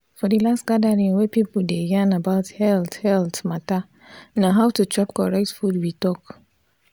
for the last gathering wey pipo dey yan about health health matta na how to chop correct food we talk.